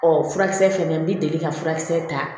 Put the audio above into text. Ɔ furakisɛ fɛnɛ n bɛ deli ka furakisɛ ta